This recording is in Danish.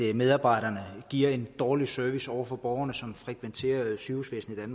at medarbejderne giver en dårlig service over for borgerne som frekventerer sygehusvæsenet i